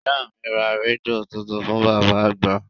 Ìyá mi ra rédíò tuntun fún bàbá àgbà